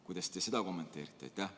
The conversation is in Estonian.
Kuidas te seda kommenteerite?